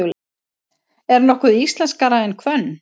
Er nokkuð íslenskara en hvönn?